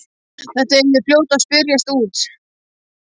Þetta yrði fljótt að spyrjast út.